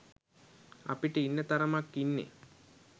අපිට ඉන්න තරමක් ඉන්නෙ